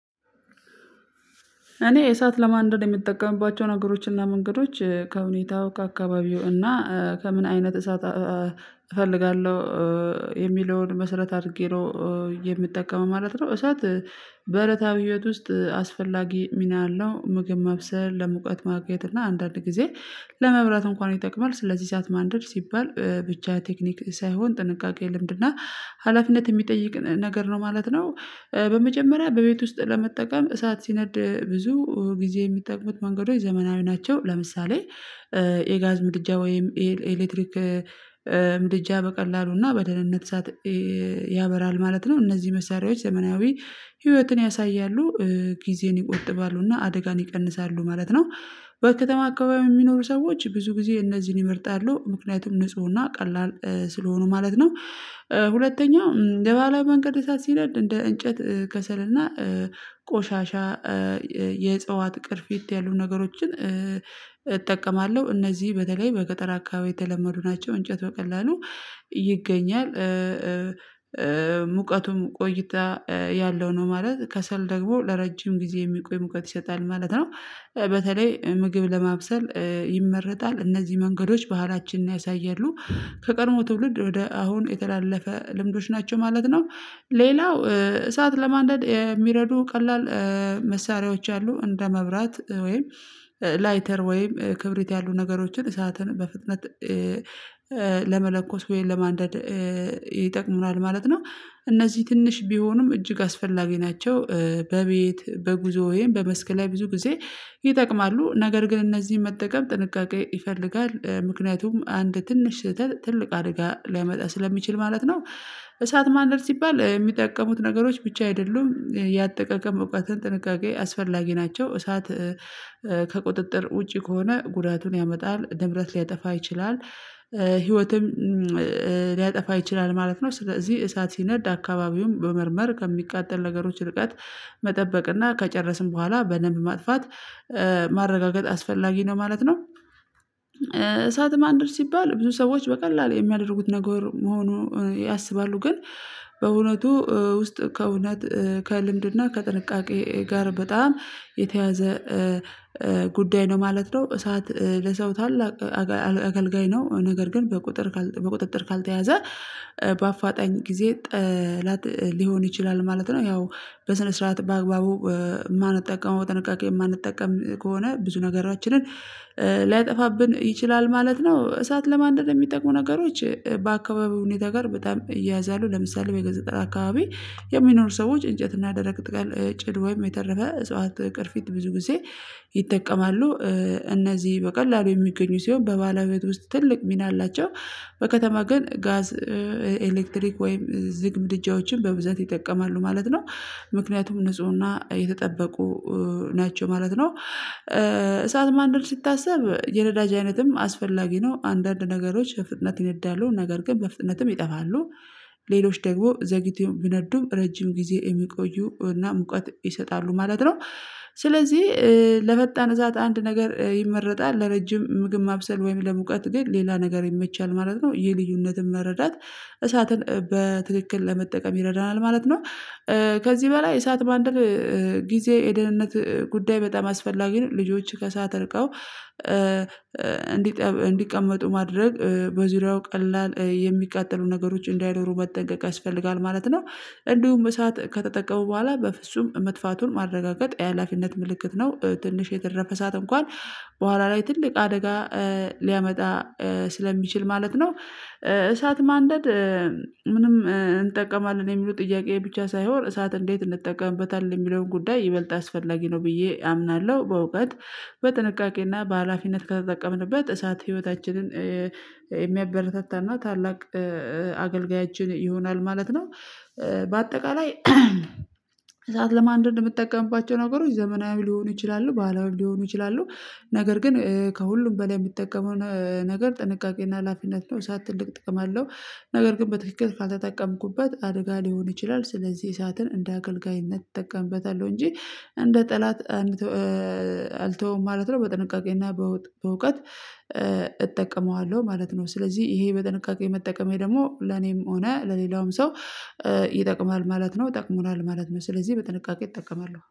እኔ የእሳት ለማንደድ የምጠቀምባቸው ነገሮችና መንገዶች ከሁኔታው ከአካባቢው እና ከምን አይነት እሳት እፈልጋለሁ የሚለውን መሰረት አድርጌ ነው የምጠቀመው ማለት ነው። እሳት በረታ በህይወት ውስጥ አስፈላጊ ሚና አለው ምግብ ማብሰል ለሙቀት ማግኘት እና አንዳንድ ጊዜ ለመብራት እንኳን ይጠቅማል ስለዚህ እሳት ማንደድ ሲባል ብቻ ቴክኒክ ሳይሆን ጥንቃቄ ልምድና ሀላፊነት የሚጠይቅ ነገር ነው ማለት ነው። በመጀመሪያ በቤት ውስጥ ለመጠቀም እሳት ሲነድ ብዙ ጊዜ የሚጠቅሙት መንገዶች ዘመናዊ ናቸው። ለምሳሌ የጋዝ ምድጃ ወይም ኤሌክትሪክ ምድጃ በቀላሉና በደህንነት እሳት ያበራል ማለት ነው። እነዚህ መሳሪያዎች ዘመናዊ ህይወትን ያሳያሉ ጊዜን ይቆጥባሉና አደጋን ይቀንሳሉ ማለት ነው። በከተማ አካባቢ የሚኖሩ ሰዎች ብዙ ጊዜ እነዚህን ይምርጣሉ ምክንያቱም ንፁህና ቀላል ስለሆኑ ማለት ነው። ሁለተኛው በባህላዊ መንገድ እሳት ሲነድ እንደ እንጨት ከሰልና ቆሻሻ የእጸዋት ቅርፊት ያሉ ነገሮችን እጠቀማለሁ እነዚህ በተለይ በገጠር አካባቢ የተለመዱ ናቸው። እንጨት በቀላሉ ይገኛል። ሙቀቱም ቆይታ ያለው ነው ማለት ከሰል ደግሞ ለረጅም ጊዜ የሚቆይ ሙቀት ይሰጣል ማለት ነው። በተለይ ምግብ ለማብሰል ይመረጣል። እነዚህ መንገዶች ባህላችንን ያሳያሉ ከቀድሞ ትውልድ ወደ አሁን የተላለፈ ልምዶች ናቸው ማለት ነው። ሌላው እሳት ለማንደድ የሚረዱ ቀላል መሳሪያዎች አሉ እንደ መብራት ወይም ላይተር ወይም ክብሪት ያሉ ነገሮችን እሳትን በፍጥነት ለመለኮስ ወይም ለማንደድ ይጠቅሙናል ማለት ነው። እነዚህ ትንሽ ቢሆኑም እጅግ አስፈላጊ ናቸው። በቤት በጉዞ ወይም በመስክ ላይ ብዙ ጊዜ ይጠቅማሉ። ነገር ግን እነዚህን መጠቀም ጥንቃቄ ይፈልጋል ምክንያቱም አንድ ትንሽ ትልቅ አደጋ ሊያመጣ ስለሚችል ማለት ነው። እሳት ማንደድ ሲባል የሚጠቀሙት ነገሮች ብቻ አይደሉም ያጠቀቀም እውቀትን ጥንቃቄ አስፈላጊ ናቸው። እሳት ከቁጥጥር ውጪ ከሆነ ጉዳቱን ያመጣል ንብረት ሊያጠፋ ይችላል ህይወትም ሊያጠፋ ይችላል ማለት ነው። ስለዚህ እሳት ሲነድ አካባቢውን መመርመር ከሚቃጠል ነገሮች ርቀት መጠበቅ እና ከጨረስን በኋላ በደንብ ማጥፋት ማረጋገጥ አስፈላጊ ነው ማለት ነው። እሳት ማንደድ ሲባል ብዙ ሰዎች በቀላሉ የሚያደርጉት ነገር መሆኑ ያሰባሉ ግን በእውነቱ ውስጥ ከእውነት ከልምድና ከጥንቃቄ ጋር በጣም የተያያዘ ጉዳይ ነው ማለት ነው። እሳት ለሰው ታላቅ አገልጋይ ነው ነገር ግን በቁጥጥር ካልተያዘ በአፋጣኝ ጊዜ ጠላት ሊሆን ይችላል ማለት ነው። ያው በስነ ስርዓት በአግባቡ የማንጠቀመው ጥንቃቄ የማንጠቀም ከሆነ ብዙ ነገራችንን ሊያጠፋብን ይችላል ማለት ነው። እሳት ለማንደድ የሚጠቁ ነገሮች በአካባቢው ሁኔታ ጋር በጣም ይያያዛሉ። ለምሳሌ ወደ ገጥር አካባቢ የሚኖሩ ሰዎች እንጨት እና ደረቅ ቅጠል ጭድ ወይም የተረፈ እጽዋት ቅርፊት ብዙ ጊዜ ይጠቀማሉ። እነዚህ በቀላሉ የሚገኙ ሲሆን በባህላዊ ቤት ውስጥ ትልቅ ሚና አላቸው። በከተማ ግን ጋዝ ኤሌክትሪክ ወይም ዝግ ምድጃዎችን በብዛት ይጠቀማሉ ማለት ነው። ምክንያቱም ንፁህና የተጠበቁ ናቸው ማለት ነው። እሳት ማንደድ ሲታስብ የነዳጅ አይነትም አስፈላጊ ነው አንዳንድ ነገሮች በፍጥነት ይነዳሉ ነገር ግን በፍጥነትም ይጠፋሉ ሌሎች ደግሞ ዘግይቶ ቢነዱም ረጅም ጊዜ የሚቆዩ እና ሙቀት ይሰጣሉ ማለት ነው። ስለዚህ ለመጣን እሳት አንድ ነገር ይመረጣል ለረጅም ምግብ ማብሰል ወይም ለሙቀት ግን ሌላ ነገር ይመቻል ማለት ነው። ይህን ልዩነትን መረዳት እሳትን በትክክል ለመጠቀም ይረዳናል ማለት ነው። ከዚህ በላይ እሳት ማንደድ የደህንነት ጉዳይ በጣም አስፈላጊ ነው። ልጆች ከእሳት ርቀው እንዲቀመጡ ማድረግ በዙሪያው ቀላል የሚቃጠሉ ነገሮች እንዳይኖሩ መጠንቀቅ ያስፈልጋል ማለት ነው። እንዲሁም እሳት ከተጠቀሙ በኋላ በፍጹም መጥፋቱን ማረጋገጥ የሀላፊነት ምልክት ነው። ትንሽ የተረፈ እሳት እንኳን በኋላ ላይ ትልቅ አደጋ ሊያመጣ ስለሚችል ማለት ነው። እሳት ማንደድ ምንም እንጠቀማለን የሚሉ ጥያቄ ብቻ ሳይሆን እሳት እንዴት እንጠቀምበታለን የሚለውን ጉዳይ ይበልጥ አስፈላጊ ነው ብዬ አምናለሁ። በእውቀት በጥንቃቄና በሃላፊነት ከተጠቀምንበት እሳት ህይወታችንን የሚያበረታታና ታላቅ አገልጋያችን ይሆናል ማለት ነው። በአጠቃላይ እሳት ለማንደድ የምጠቀምባቸው ነገሮች ዘመናዊ ሊሆኑ ይችላሉ ባህላዊም ሊሆኑ ይችላሉ። ነገር ግን ከሁሉም በላይ የምጠቀመውን ነገር ጥንቃቄና ሀላፊነት ነው። እሳት ትልቅ ጥቅም አለው። ነገር ግን በትክክል ካልተጠቀምኩበት አድጋ ሊሆን ይችላል ስለዚህ እሳትን እንደ አገልጋይነት እጠቀምበታለሁ እንጂ እንደ ጠላት አልተወውም ማለት ነው። በጥንቃቄና በእውቀት እጠቀመዋለሁ ማለት ነው። ስለዚህ ይሄ በጥንቃቄ መጠቀሜ ደግሞ ለኔም ሆነ ለሌላውም ሰው ይጠቅማል ማለት ነው። ጠቅሞናል ማለት ነው። ስለዚህ በጥንቃቄ እጠቀማለሁ